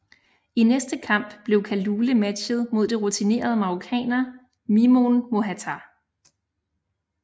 I næste kamp blev Kalule matchet mod den rutinerede marrokaner Mimoun Mohatar